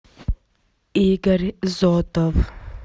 игорь зотов